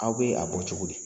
Aw bɛ a bɔ cogo di?